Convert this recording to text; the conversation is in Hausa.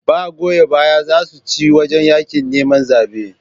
Ba goya baya zasu ce wajan yaƙin neman zabe